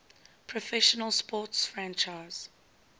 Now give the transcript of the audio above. professional sports franchise